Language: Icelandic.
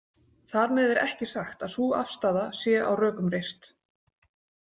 Þar með er ekki sagt að sú afstaða sé á rökum reist.